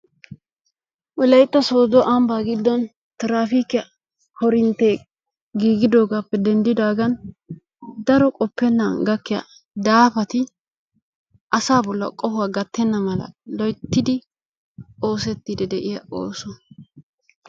Wolaytta sooddo ambba giddon tirafiikiya korintte giigidogaappe denddidaagan daro qoppennan gakkiya daafati asa bolli qohuwaa gattenna mala loyttidi oosettiiddi de'iya oosuwa.